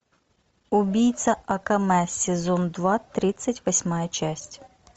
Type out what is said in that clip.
убийца акаме сезон два тридцать восьмая часть